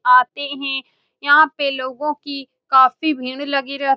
आते हैं यहाँ पे लोगों की काफी भीड़ लगी रह --